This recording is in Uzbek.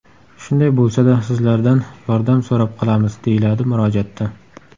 Shunday bo‘lsa-da, sizlardan yordam so‘rab qolamiz”, deyiladi murojaatda.